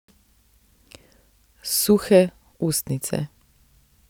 Suhe ustnice.